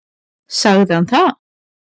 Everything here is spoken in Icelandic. Sagði hann það?